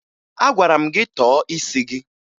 Agwara m gị tọọ isi gị!